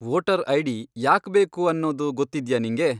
Voter ID. ಯಾಕ್ಬೇಕು ಅನ್ನೋದು ಗೊತ್ತಿದ್ಯಾ ನಿಂಗೆ?